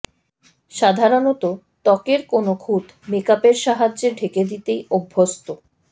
সাধারণত ত্বকের কোনও খুঁত মেকআপের সাহায্যে ঢেকে দিতেই অভ্যস্ত